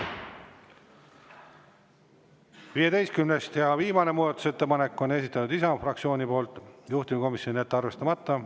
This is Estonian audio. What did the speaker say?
Ja viimase, 15. muudatusettepaneku on esitanud Isamaa fraktsioon, juhtivkomisjon: jätta arvestamata.